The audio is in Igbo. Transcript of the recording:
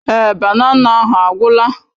Èé, banana ahụ agwụla.